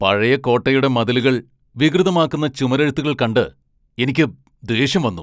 പഴയ കോട്ടയുടെ മതിലുകൾ വികൃതമാക്കുന്ന ചുമരെഴുത്തുകൾ കണ്ട് എനിക്ക് ദേഷ്യം വന്നു.